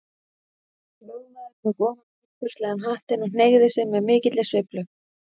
Lögmaður tók ofan tildurslegan hattinn og hneigði sig með mikilli sveiflu.